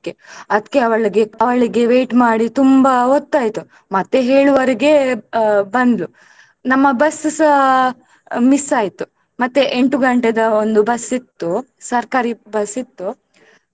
ಅದ್ಕೇ ಅವಳಿಗೆ ಅವಳಿಗೆ wait ಮಾಡಿ ತುಂಬಾ ಹೊತ್ತಾಯಿತು ಮತ್ತೆ ಏಳುವರೆಗೆ ಬಂದ್ಳು ನಮ್ಮ bus ಸ miss ಆಯ್ತು ಮತ್ತೆ ಎಂಟು ಗಂಟೆದ ಒಂದು bus ಇತ್ತು ಸರ್ಕಾರಿ bus ಇತ್ತು.